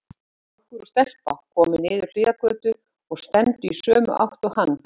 Strákur og stelpa komu niður hliðargötu og stefndu í sömu átt og hann.